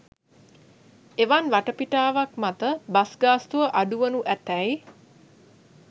එවන් වටපිටාවක් මත බස් ගාස්තුව අඩු වනු ඇතැයි